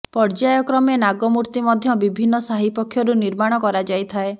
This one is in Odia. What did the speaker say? ପର୍ଯ୍ୟାୟ କ୍ରମେ ନାଗମୂର୍ତ୍ତି ମଧ୍ୟ ବିଭିନ୍ନ ସାହି ପକ୍ଷରୁ ନିର୍ମାଣ କରାଯାଇଥାଏ